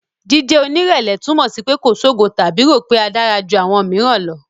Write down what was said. Jíjẹ́ onírẹ̀lẹ̀ túmọ̀ sí pé kò ṣogo tàbí rò pé a dára ju àwọn mìíràn lọ.